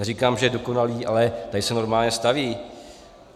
Neříkám, že je dokonalý, ale tady se normálně staví.